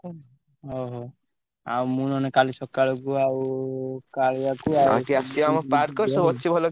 ଅହୋ! ଆଉ ମୁଁ ନହେଲେ କାଲି ସ~ ~କାଳକୁ ଆଉ କାଳିଆକୁ ଆଉ